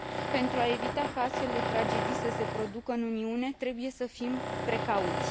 Pentru a evita ca astfel de tragedii să se producă în Uniune, trebuie să fim precauți.